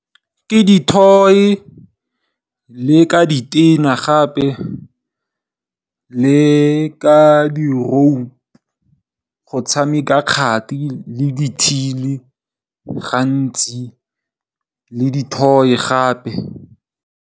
Ke di toy le ka di tena, gape le ka di rope go tshameka kgati le di thini gantsi le di toy gape.